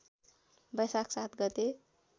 बैशाख ७ गते